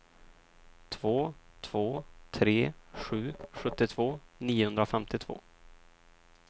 två två tre sju sjuttiotvå niohundrafemtiotvå